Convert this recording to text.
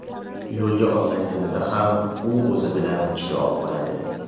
Yo‘lga otlanganida ham u o‘zi bilan kitob oladi.